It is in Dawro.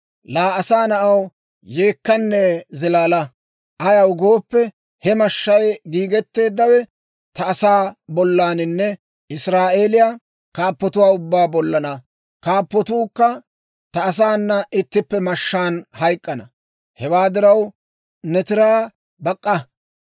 « ‹Laa asaa na'aw, yeekkanne zilaala! Ayaw gooppe, he mashshay giigetteeddawe ta asaa bollaananne Israa'eeliyaa kaappotuwaa ubbaa bollaanna. Kaappatuukka ta asaana ittippe mashshaan hayk'k'ana. Hewaa diraw, ne tiraa bak'k'a.